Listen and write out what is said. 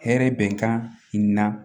Hɛrɛ bɛnkan in na